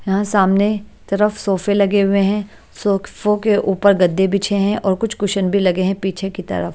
यहां सामने तरफ सोफे लगे हुए हैं शोकफो के ऊपर गद्दे बीछे हैं और कुछ कुशन भी लगे हैं पीछे की तरफ।